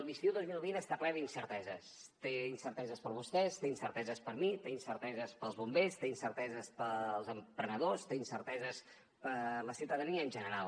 l’estiu dos mil vint està ple d’incerteses té incerteses per a vostès té incerteses per a mi té incerteses per als bombers té incerteses per als emprenedors té incerteses per a la ciutadania en general